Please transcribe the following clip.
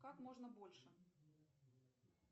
как можно больше